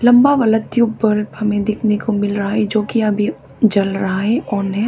लम्भा वाला ट्यूब पर हमें देखने को मिल रहा है जो कि अभी जल रहा है ऑन है।